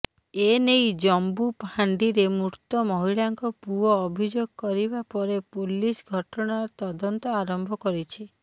ଏନେଇ ଜମ୍ବୁ ଫାଣ୍ଡିରେ ମୃତ ମହିଳାଙ୍କ ପୁଅ ଅଭିଯୋଗ କରିବା ପରେ ପୋଲିସ୍ ଘଟଣାର ତଦନ୍ତ ଆରମ୍ଭ କରିଛି